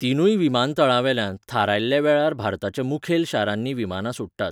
तिनूय विमानतळांवेल्यान थारयल्ल्या वेळार भारताच्या मुखेल शारांनी विमानां सुट्टात.